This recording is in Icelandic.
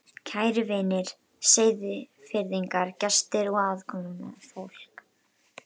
Kæru vinir, Seyðfirðingar, gestir og aðkomufólk